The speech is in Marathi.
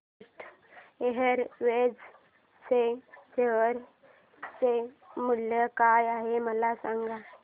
जेट एअरवेज च्या शेअर चे मूल्य काय आहे मला सांगा